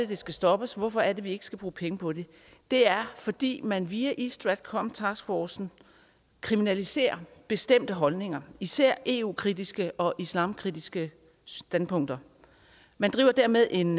det skal stoppes hvorfor er det at vi ikke skal bruge penge på det det er fordi man via east stratcom taskforcen kriminaliserer bestemte holdninger især eu kritiske og islamkritiske standpunkter man driver dermed en